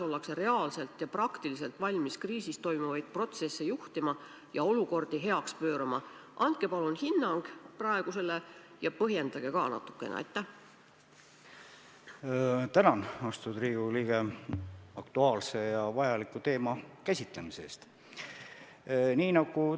Terviseamet on saatnud igasse omavalitsusse konkreetsed juhised, mis tuleks läbi mõelda, milleks peaks valmis olema, aga nende tegevuste käivitamine, milleks valmis peab olema, tuleneb Terviseameti ohuhinnangust.